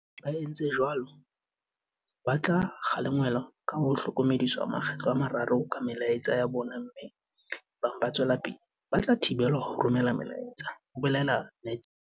"Ba etsang jwalo ba tla kgalengwa ka ho hlokomediswa makgetlo a mararo ka melaetsa ya bona mme ebang ba tswela pele ba tla thibelwa ho romela melaetsa," ho bolela Netshiya.